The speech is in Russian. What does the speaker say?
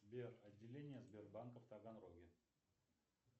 сбер отделения сбербанка в таганроге